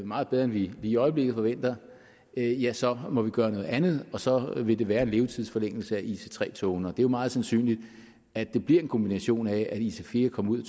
meget bedre end vi i øjeblikket forventer ja så må vi gøre noget andet og så vil det være en levetidsforlængelse for ic3 togene det er meget sandsynligt at det bliver en kombination af at ic4 komme ud